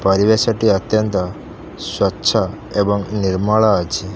ପରିବେଶଟି ଅତ୍ୟନ୍ତ ସ୍ୱଚ୍ଛ ଏବଂ ନିର୍ମଳ ଅଛି।